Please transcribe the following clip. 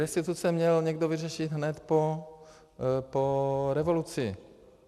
Restituce měl někdo vyřešit hned po revoluci.